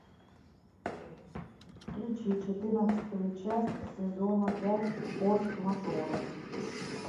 включи четырнадцатую часть сезона пять форс мажоры